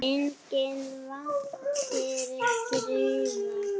Enginn væntir griða.